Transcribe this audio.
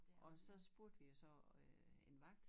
Og så spurgte vi jo så øh en vagt